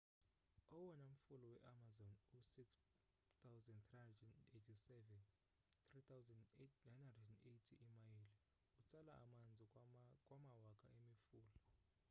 owona mfula we-amazon u-6,387 3,980 iimayile. utsala amanzi kwamawaka emifulana